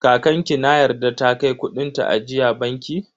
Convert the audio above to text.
Kakan ki na yarda ta kai kudin ta ajiya banki?